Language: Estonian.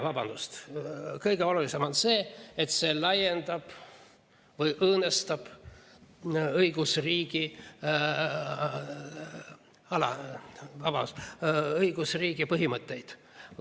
Vabandust, kõige olulisem on see, et see õõnestab õigusriigi põhimõtteid.